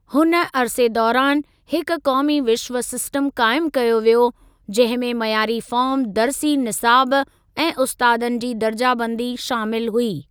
हुन अरसे दौरान हिक क़ौमी विश्व सिस्टम क़ाइमु कयो वियो जंहिं में मयारी फ़ार्म दर्सी निसाब ऐं उस्तादनि जी दर्जा बंदी शामिलु हुई।